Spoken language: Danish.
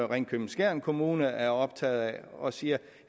ringkøbing skjern kommune er optaget af og siger